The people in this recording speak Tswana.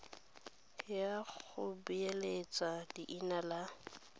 ya go beeletsa leina la